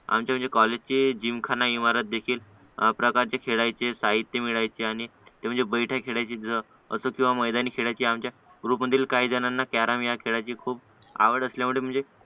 आमच्या म्हणजे कॉलेजची जिमखाना इमारत देखील प्रकारचे खेळायचे साहित्य मिळायचे आणि ते म्हणजे बैठक खेळायची असं म्हणजे मैदानी खेळायची अशा आमच्या ग्रुपमधील काही जणांना कॅरम खेळायची खूप आवड असल्यामुळे म्हणजे